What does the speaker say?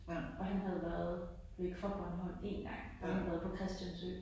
Og han havde været væk fra Bornholm én gang. Der havde han været på Christiansø